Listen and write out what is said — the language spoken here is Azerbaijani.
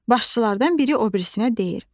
Başçılardan biri o birisinə deyir: